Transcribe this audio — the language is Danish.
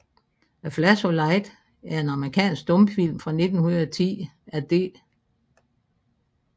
A Flash of Light er en amerikansk stumfilm fra 1910 af D